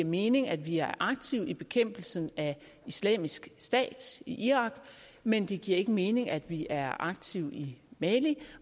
mening at vi er aktive i bekæmpelsen af islamisk stat i irak men det giver ikke mening at vi er aktive i mali